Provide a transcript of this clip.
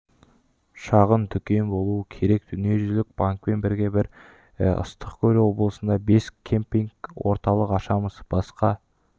шағын дүкен болуы керек дүниежүзілік банкпен бірге біз ыстық-көл облысында бес кемпингтік орталық ашамыз басқа